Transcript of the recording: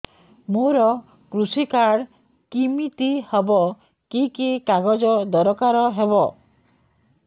ମୋର କୃଷି କାର୍ଡ କିମିତି ହବ କି କି କାଗଜ ଦରକାର ହବ